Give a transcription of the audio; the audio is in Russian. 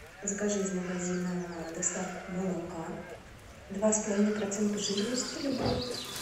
закажи из магазина доставку молока два с половиной процента жирности любого